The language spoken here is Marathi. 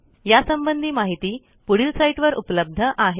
यासंबंधी माहिती पुढील साईटवर उपलब्ध आहे